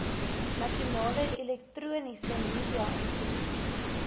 nasionale elektroniese mediainstituut